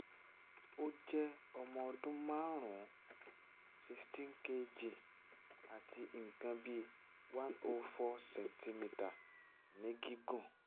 ó jẹ́ ọmọ ọdún márùn-ún sixteen kg àti nǹkan bí one oh four centimeter ní gígùn